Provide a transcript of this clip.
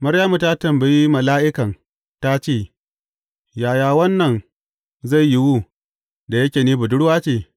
Maryamu ta tambayi mala’ikan ta ce, Yaya wannan zai yiwu, da yake ni budurwa ce?